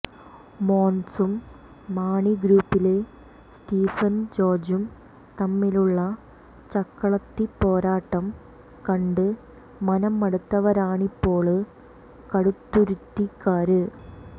മോന്സും മാണിഗ്രൂപ്പിലെ സ്റ്റീഫന്ജോര്ജ്ജും തമ്മിലുള്ള ചക്കളത്തിപ്പോരാട്ടം കണ്ട് മനം മടുത്തവരാണിപ്പോള് കടുത്തുരുത്തിക്കാര്